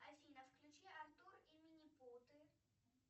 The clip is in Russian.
афина включи артур и минипуты